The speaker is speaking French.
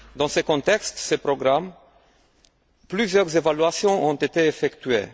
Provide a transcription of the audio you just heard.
Dans le contexte de ce programme, plusieurs évaluations ont été effectuées.